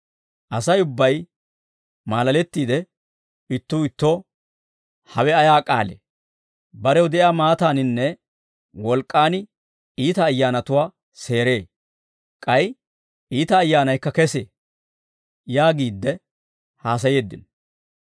Asay ubbay maalalettiide ittuu ittoo, «Hawe ayaa k'aalee? Barew de'iyaa maataaninne wolk'k'aan iita ayyaanatuwaa seeree; k'ay iita ayyaanaykka kesee» yaagiidde haasayeeddino.